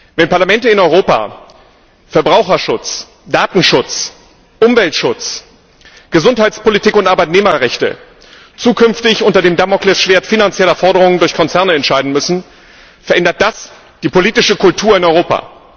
Wenn Parlamente in Europa Verbraucherschutz, Datenschutz, Umweltschutz, Gesundheitspolitik und Arbeitnehmerrechte zukünftig unter dem Damoklesschwert finanzieller Forderungen durch Konzerne entscheiden müssen, verändert das die politische Kultur in Europa.